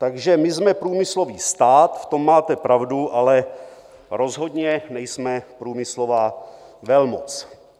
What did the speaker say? Takže my jsme průmyslový stát, v tom máte pravdu, ale rozhodně nejsme průmyslová velmoc.